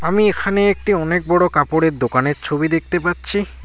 আমি এখানে একটি অনেক বড় কাপড়ের দোকানের ছবি দেখতে পাচ্ছি।